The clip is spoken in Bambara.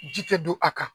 Ji tɛ don a kan